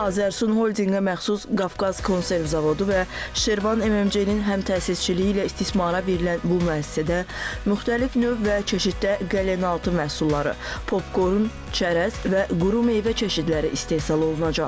Azərsun Holdinqə məxsus Qafqaz Konserv zavodu və Şirvan MMC-nin həmtəsisçiliyi ilə istismara verilən bu müəssisədə müxtəlif növ və çeşiddə qəlinəaltı məhsulları, popkorn, çərəz və quru meyvə çeşidləri istehsal olunacaq.